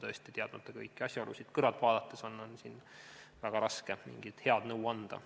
Teadmata kõiki asjaolusid, on siin kõrvalt vaadates väga raske mingit head nõu anda.